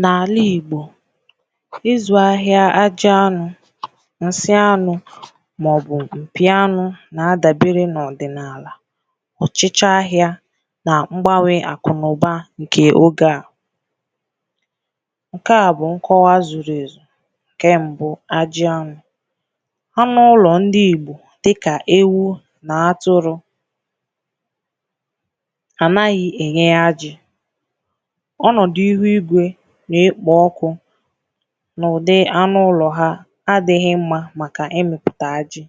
N’alà Igbò ịzụ ahịà àjị anụ̀ nsị anụ̀ maọ̀bu̇̀ mpì anụ̀ na-adabere n’ọdịnaalà ọchịchị ahịà na ngbanwe akụ na ụbà nke oge à nke à bụ̀ nkọwà zuru ezù nke mbụ̀ àjị̀ anụ̀ anụ̀ ụlọ̀ ndị Igbò dịkà ewu na atụrụ ha anaghị̀ enye àjị̀ ọnọdụ̀ ihu igwe na-ekpo ọkụ̀ n’ụdị anụ ụlọ̀ ha adighị̀ mmà makà ịmịpụtà àjị̀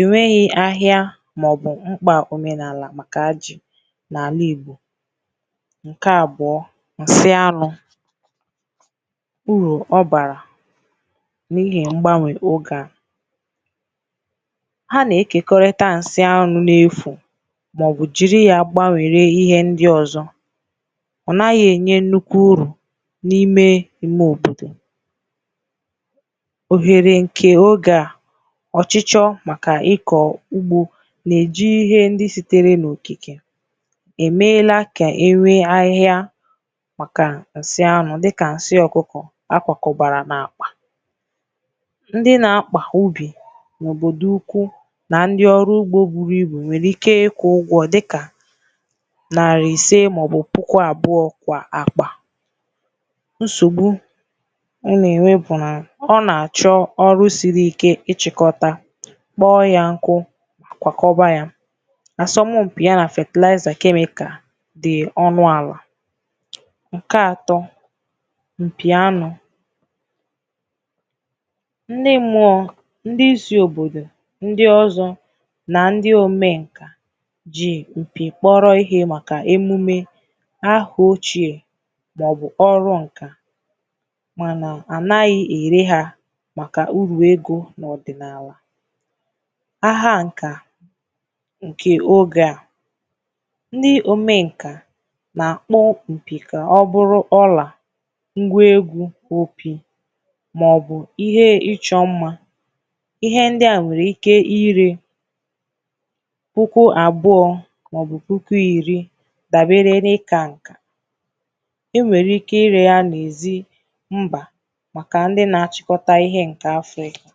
e nweghì ahịà maọ̀bụ̀ m̄kpà omenaalà makà àjị̀ n’alà Igbò nke abụọ̀ nsị anụ̀ uru ọ baà n’ihi ngbanwe oge à ha na-ekekọrịtà nsị anụ̀ n’efù maọ̀bụ̀ jiri ya gbanwere ihe ndị ọzọ̀ ọ naghị̀ enye nnukwu uru n’ime ime òbodò ohere nke oge à ọchịchọ makà ịkọ̀ ugbò na-eji ihe ndị sitere n’okikè emelà ka ere ahịà makà nsị anụ̀ dịkà nsị ọkụkọ̀ akwakọbarà n’akpà ndị na-akpà ubì n’òbodò ukwu na ndị ọrụ̀ ugbò buru ibu nwere ike ịkwụ̀ ụgwọ̀ dịkà nari ise maọ̀bụ̀ puku abụọ̀ kwà akpà nsogbu ọ na-enwe bụ nà ọ na-achọ ọrụ̀ siri ike ịchịkọtà kpọ ya nkụ̀ akwakọbayà asompị ya na fertilizer chemical dị ọnụ alà nke atọ mpì anụ̀ nne mmụọ ndị isi òbodò ndị ọzọ na ndị̀ omenkà ji ya ekwupe kpọrọ ihe makà emume aha ochè maọ̀bụ̀ ọrụ̀ nkà manà anaghị̀ eri ha makà uru egōna ọdịnaalà aha nkà nke oge à ndị omenkà na-akpọ mpì ka ọ bụrụ ọlà ngwa egwu ụpị̀ maọ̀bụ̀ ihe ịchọ mmà ihe ndị à nwere ike ire puku abụọ̀ maọ̀bụ̀ puku iri dabere n’ịka nkà e nwere ike ire ya n’ezì mbà makà ndị na-achịkọtà ihe nke Afịrịkà